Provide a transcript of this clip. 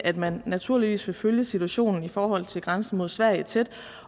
at man naturligvis vil følge situationen i forhold til grænsen mod sverige tæt